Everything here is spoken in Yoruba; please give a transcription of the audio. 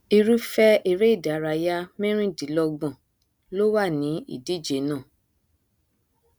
irúfẹ eré ìdárayá mẹrìdínlọgbọn ló wà ní ìdíje náà